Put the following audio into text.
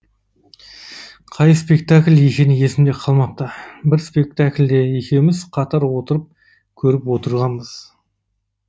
қай спектакль екені есімде қалмапты бір спектакльді екеуміз қатар отырып көріп отырғанбыз